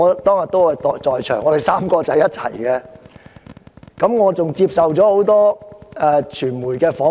當天，我們3人待在一起，而我還接受了多間傳媒機構訪問。